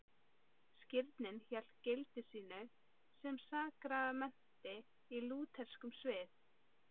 Skírnin hélt gildi sínu sem sakramenti í lútherskum sið.